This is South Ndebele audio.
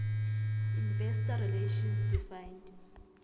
investor relations defined